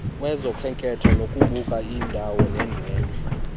kwezokhenketho ukubuka iindwendwe